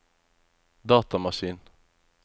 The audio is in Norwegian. datamaskin